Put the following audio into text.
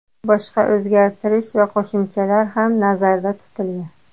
Boshqa o‘zgartirish va qo‘shimchalar ham nazarda tutilgan.